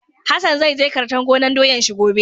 Hassan zai je kartan gonan doyan shi gobe.